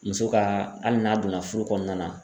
Muso ka hali n'a donna furu kɔnɔna na.